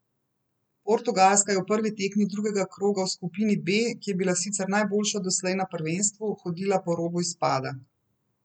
Portugalska je v prvi tekmi drugega kroga v skupini B, ki je bila sicer najboljša doslej na prvenstvu, hodila po robu izpada.